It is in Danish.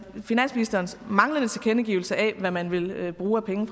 finansministerens manglende tilkendegivelse af hvad man vil bruge af penge